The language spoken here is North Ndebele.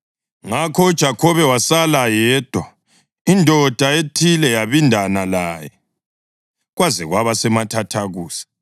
Ngakho uJakhobe wasala yedwa, indoda ethile yabindana laye kwaze kwaba semathathakusa.